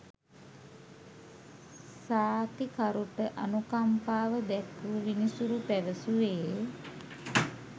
සාක්කිකරුට අනුකම්පාව දැක්වූ විනිසුරු පැවසුවේ